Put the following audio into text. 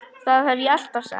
Það hef ég alltaf sagt.